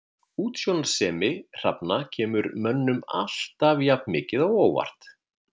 Útsjónarsemi hrafna kemur mönnum alltaf jafn mikið á óvart.